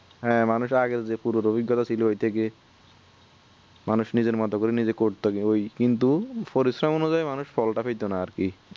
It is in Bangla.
হ্যাঁ মানুষের আগে যে পুরো অভিজ্ঞতা ছিল ঐটা গিয়ে মানুষ নিজের মতো করে নিজে করতো গে ওই কিন্তু পরিশ্রম অনুযায়ীই মানুষ ফলটা পেতোনা আরকি